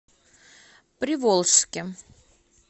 приволжске